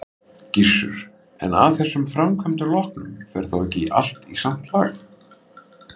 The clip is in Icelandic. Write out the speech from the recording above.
Gissur: En af þessum framkvæmdum loknum, fer þá ekki allt í samt lag?